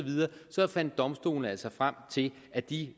fandt domstolene altså frem til at de